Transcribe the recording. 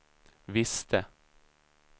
visste